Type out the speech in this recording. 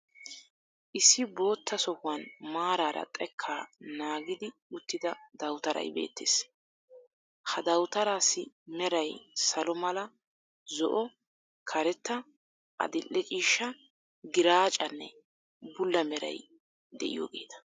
Issi bootta sohuwan maaraara xekkaa naagidi uttida dawutaray beettees. Ha dawutaraassi meray salo mala, zo"o, karetta, addil"ee ciishsha, giraaccanne bulla meray de'iyogeta.